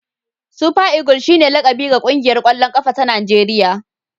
Super eagle shine laƙabi ga ƙungiyar ƙwallon ƙafa ta Najeriya.